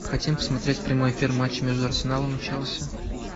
хотим посмотреть прямой эфир матча между арсеналом и челси